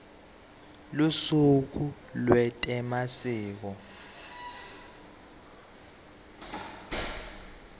lusuku lwetemasiko